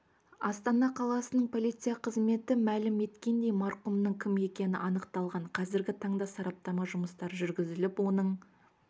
астана қаласының полиция қызметі мәлім еткендей марқұмның кім екені анықталған қазіргі таңда сараптама жұмыстары жүргізіліп оның